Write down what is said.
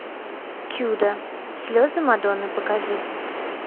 чудо слезы мадонны покажи